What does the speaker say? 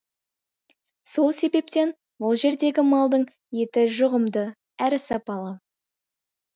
сол себептен бұл жердегі малдың еті жұғымды әрі сапалы